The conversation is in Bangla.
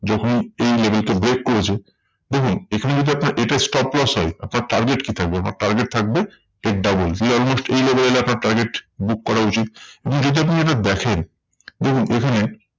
যখন এই level কে break করেছে দেখুন এখানে যদি আপনার এটা stop loss হয় আপনার target কি থাকবে? আপনার target থাকবে এর double. you almost এই level এ আপনার target book করা উচিত। যদি আপনি এটা দেখেন, দেখুন এখানে